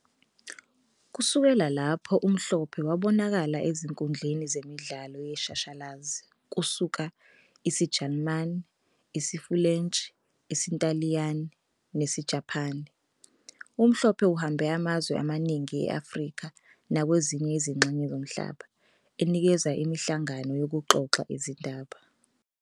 Kusukela lapho uMhlophe ubonakale ezinkundleni zemidlalo yeshashalazi kusuka isiJalimane, isiFulentshi, isiNtaliyane, ] nesiJapane. UMhlophe uhambe amazwe amaningi e-Afrika nakwezinye izingxenye zomhlaba enikeza imihlangano yokuxoxa izindaba.